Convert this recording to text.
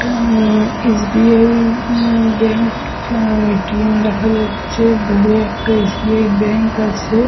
উম উম S .B .I. Bank A. T .M. দেখা যাচ্ছে দূরে একটা এস. B .I. ব্যাঙ্ক আছে।